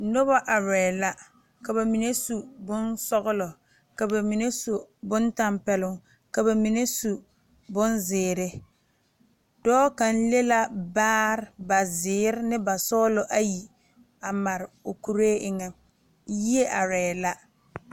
Nobɔ arɛɛ la ka ba mine su bonsɔglɔ ka ba mine su bon tampɛloŋ ka ba mine su bonzeere dɔɔ kaŋ le la baare ba zeere ne ba sɔglɔ ayi a mare o kuree eŋɛ yie arɛɛ la.